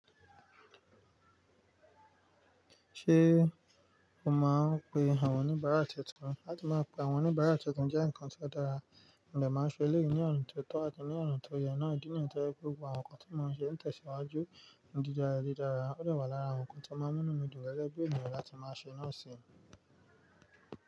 Ṣé o máa ń pe àwọn oníbàárà tuntun? Lati máa pe àwọn oníbàárà tuntun jẹ́ nǹkan tó dára, mọ̀ màá ṣe eleyi ní ọ̀na tó tọ́ àti ní ọ̀na tó yẹn náà. Idí nìyen tó jé pe gbogbo àwọn nnkan tí mò ń ṣe ń tẹ̀síwájú dídara dídara, ó dà wà lára àwọn nnkan tí màá múnu mi dùn gege bi eniyan láti máa ṣe náà sì.